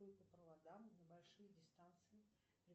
по проводам на большие дистанции